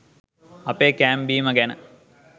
අපේ කෑම බීම ගැන